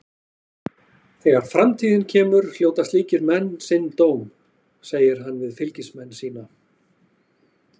Þegar framtíðin kemur hljóta slíkir menn sinn dóm, segir hann við fylgismenn sína.